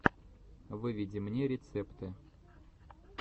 выведи мне рецепты